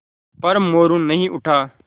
पर मोरू नहीं उठा